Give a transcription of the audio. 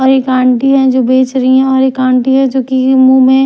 और एक आंटी है जो बेच रही है और एक आंटी है जो कि मुंह में--